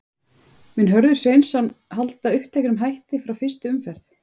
Mun Hörður Sveinsson halda uppteknum hætti frá fyrstu umferð?